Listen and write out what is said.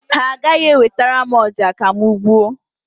Ha agaghị ewetara m ọja ka m gbuo.